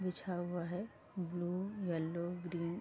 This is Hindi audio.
बिछा हुआ है ब्लू येल्लो ग्रीन --